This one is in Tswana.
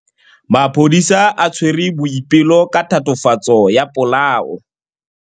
Maphodisa a tshwere Boipelo ka tatofatsô ya polaô.